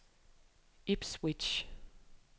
Ipswich